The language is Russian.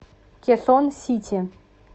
кесон сити